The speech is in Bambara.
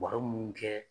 Baro mun kɛ